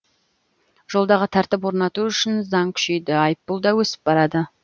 жолдағы тәртіпті орнату үшін заң күшейді айыппұл да өсіп барады